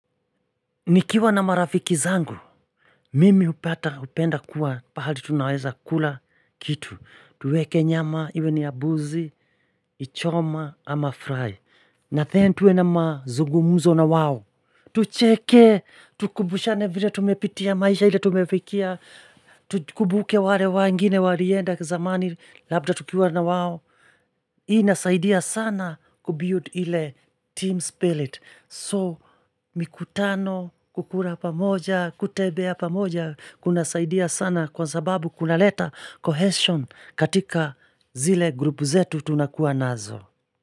Nikiwa na marafiki zangu, mimi hupata hupenda kuwa pahali tunaweza kula kitu, tuweke nyama iwe ni ya mbuzi, choma ama fry, na kisha tuwe na mazungumzo na wao, tucheke, tukumbushane vile tumepitia maisha ile tumepitia, tukumbuke wale wengine walienda zamani labda tukiwa na wao, Hii inasaidia sana kubiuld ile team spirit. So mikutano, kula pamoja, kutembea pamoja kunasaidia sana kwa sababu kunaleta cohesion katika zile vikundi zetu tunakuwa nazo.